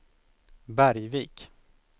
Bergvik